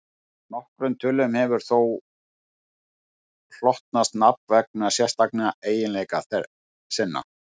Nokkrum tölum hefur þó hlotnast nafn vegna sérstakra eiginleika sinna.